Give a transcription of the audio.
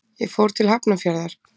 Ég fór til Hafnarfjarðar.